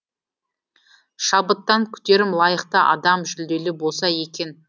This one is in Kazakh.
шабыттан күтерім лайықты адам жүлделі болса екен